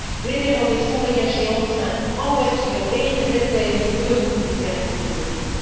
Les terroristes ont voyagé en train, en voiture et ils étaient, oui, connus des services de police.